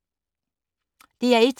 DR1